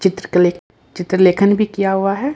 चित्रकले चित्रलेखन भी किया हुआ है।